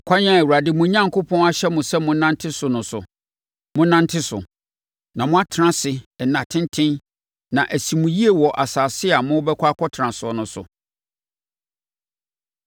Akwan a Awurade mo Onyankopɔn ahyɛ mo sɛ monnante so no so, monnante so. Na moatena ase nna tenten na asi mo yie wɔ asase a morebɛkɔ akɔtena so no so.”